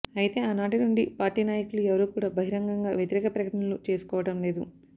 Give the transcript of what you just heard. అయితే ఆనాటి నుండి పార్టీ నాయకులు ఎవరూ కూడ బహిరంగంగా వ్యతిరేక ప్రకటనలు చేసుకోవడం లేదు